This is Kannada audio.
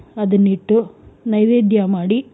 ಅದನ್ನಿಟ್ಟು ನೈವೇದ್ಯ ಮಾಡಿ,